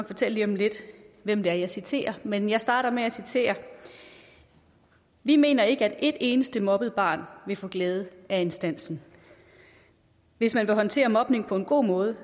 fortælle lige om lidt hvem det er jeg citerer men jeg starter med at citere vi mener ikke at et eneste mobbet barn vil få glæde af instansen hvis man vil håndtere mobning på en god måde